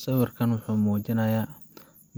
Sawirkan wuxuu muujinayaa